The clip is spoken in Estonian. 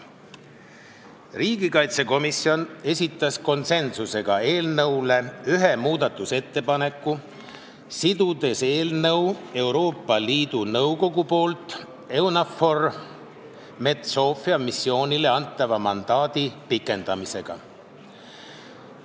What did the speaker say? Riigikaitsekomisjon esitas konsensuslikult eelnõu kohta ühe muudatusettepaneku, sidudes eelnõu Euroopa Liidu Nõukogu poolt EUNAVFOR Med/Sophia missioonile antava mandaadi pikendamisega.